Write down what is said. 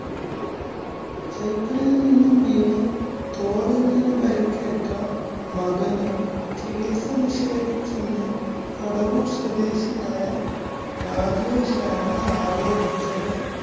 cycle ല്‍ നിന്നും വീണ് തോളെല്ലിനു പരിക്കേറ്റ മകനു ചികിത്സ നിഷേധിച്ചെന്നു കടവൂര്‍ സ്വദേശിയായ രാജേഷാണ് ആരോപിച്ചത്.